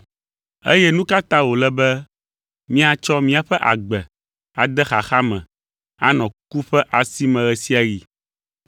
Eye nu ka ta wòle be míatsɔ míaƒe agbe ade xaxa me anɔ ku ƒe asi me ɣe sia ɣi?